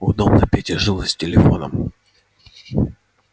удобно пете жилось с телефоном